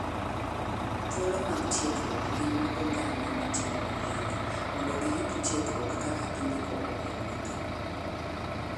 Thuolo mag tieguok gin mag oganda matimo ohala mondo giyud tiegruok kaka gi ndiko ohel ni gi.